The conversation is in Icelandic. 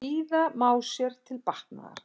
Bíða má sér til batnaðar.